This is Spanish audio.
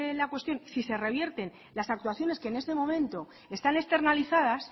la cuestión si se revierten las actuaciones que en este momento están externalizadas